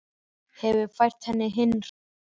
Hefur fært henni hinn hreina huga.